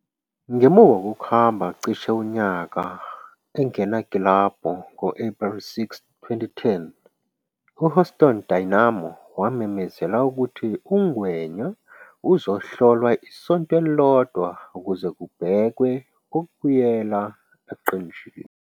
Ngemuva kokuhamba cishe unyaka engenakilabhu ngo-Ephreli 6, 2010, uHouston Dynamo wamemezela ukuthi uNgwenya uzohlolwa isonto elilodwa ukuze kubhekwe ukubuyela eqenjini.